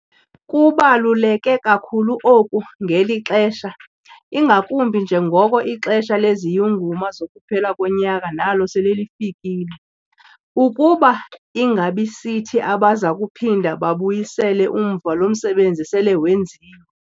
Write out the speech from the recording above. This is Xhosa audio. Kubaluleke kakhulu oku ngeli xesha, ingakumbi njengoko ixesha leziyunguma zokuphela konyaka nalo sele lifikile, ukuba ingabi sithi abaza kuphinda babuyisele umva lo msebenzi sele wenziwe.